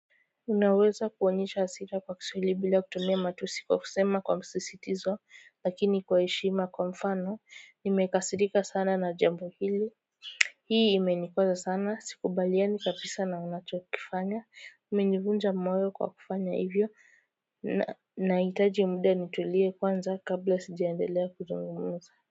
Unaweza kuonyesha hasira kwa kiswahili bila kutumia matusi kwa kusema kwa msisitizo lakini kwa heshima kwa mfano nimekasirika sana na jambo hili Hii imenikwaza sana sikubaliani kabisa na unachokifanya umenivunja moyo kwa kufanya hivyo na hitaji mud nitulie kwanza kabla sijiandelea kuzungumza.